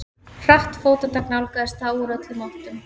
Hratt fótatak nálgaðist þá úr öllum áttum.